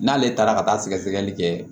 N'ale taara ka taa sɛgɛsɛgɛli kɛ